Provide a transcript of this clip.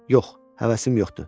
Yox, həvəsim yoxdur.